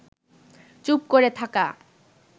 চুপ করে থাকা